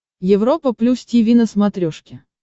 европа плюс тиви на смотрешке